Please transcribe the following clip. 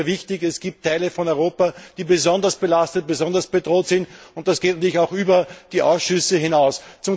Das Thema ist sehr wichtig. Es gibt Teile von Europa, die besonders belastet und besonders bedroht sind, und das geht natürlich auch über die Ausschüsse hinaus.